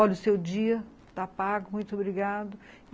Olha o seu dia, está pago, muito obrigado.